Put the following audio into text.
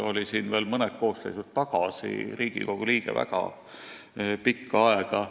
Oli ta ju veel mõned koosseisud tagasi pikka aega Riigikogu liige.